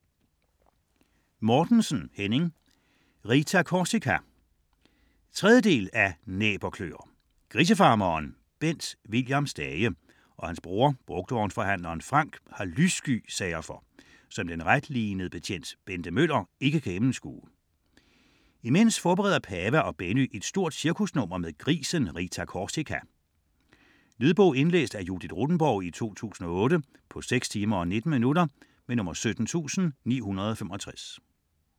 Mortensen, Henning: Rita Korsika 3. del af Næb og kløer. Grisefarmeren Bent William Stage og hans bror brugtvognsforhandler Frank har lyssky sager for, som den retlinede betjent Bente Møller ikke kan gennemskue. Imens forbereder Pava og Benny et stort cirkusnummer med grisen Rita Korsika. Lydbog 17965 Indlæst af Judith Rothenborg, 2008. Spilletid: 6 timer, 19 minutter.